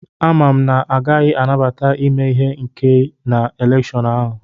Amam na a gaghị anabata ime ihe ike na elèkshón ahu